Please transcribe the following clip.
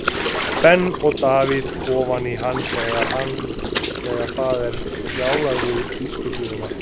Ben og Davíð ofan í hann þegar það er rjálað við bílskúrshurðina.